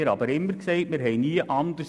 Das haben wir immer gesagt.